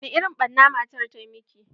Wani irin ɓarna matan ta miki?